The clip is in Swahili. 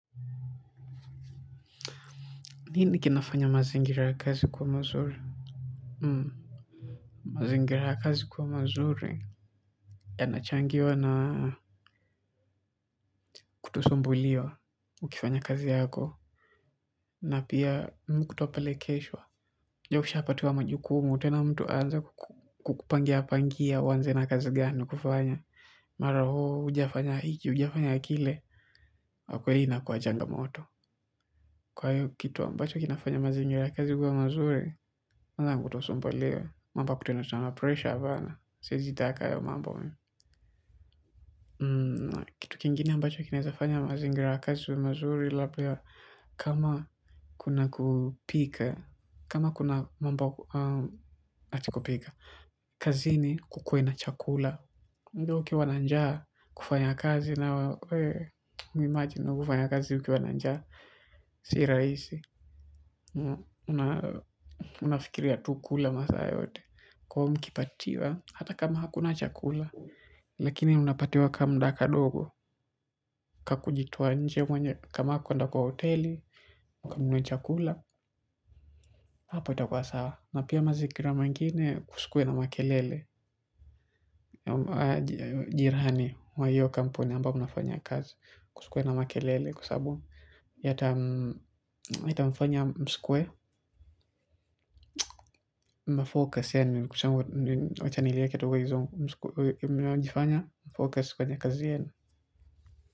Nini kinafanya mazingira kazi kua mazuri? Mazingira ya kazi kuwa mazuri yanachangiwa na kutosumbuliwa ukifanya kazi yako na pia kutopelekeshwa. Ujue ukishapatiwa majukumu tena mtu aanze kukupangia pangia uanze na kazi gani kufanya. Mara hoo hujiafanya hiki hujiafanya kile kwakweli inakua changamoto. Kwa hiyo kitu ambacho kinafanya mazingira ya kazi kuwa mazuri kwanza ni kutosombuliwa. Mambo ya kutiana sana pressure hapana siwezi taka hayo mambo. Kitu kingine ambacho kinawezafanya mazingira ya kazi yawe mazuri labda kama kuna kupika. Kama kuna mambo ati kupika. Kazini kukue na chakula. Ukiwa na njaa kufanya kazi imagine kufanya kazi ukiwa na njaa si rahisi unafikiria tu kula masaa yote lakini unapatiwa ka mda ka dogo kaku jitoa nje mwenye kama kwenda kwa hoteli kama mwenye chakula hapo itakua sawa na pia mazingira mengine kusikue na makelele jirani mwa hiyo kampuni ambayo mnafanya kazi kusikuwe na makelele kusabu yata mfanya msikue mmafocus yani wacha niliweke tu kwa kizungu mnajifanya mnajifanya focus kwenye kazi yenu.